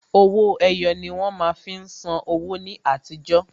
Owó ẹyọ ni wón má fi ń san wó ní àtijọ́